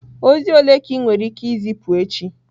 Ozi ole ka ị nwere ike izipu echi?